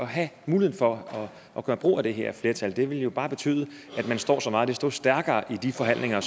have mulighed for at gøre brug af det her flertal det ville jo bare betyde at man står så meget desto stærkere i de forhandlinger